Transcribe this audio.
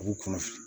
A b'u kɔnɔ fili